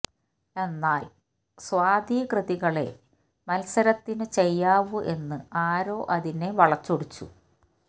എന്നാല് സ്വാതി കൃതികളേ മത്സരത്തിനു ചെയ്യാവൂ എന്ന് ആരോ അതിനെ വളച്ചൊടിച്ചു